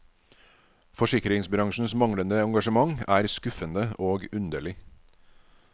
Forsikringsbransjens manglende engasjement er skuffende og underlig.